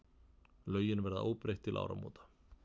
Lögin verða óbreytt til áramóta.